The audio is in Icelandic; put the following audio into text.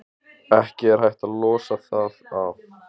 Ekki er hægt að losa það af.